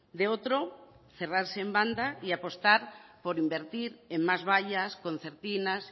de otro cerrarse en banda y apostar por invertir en más vallas concertinas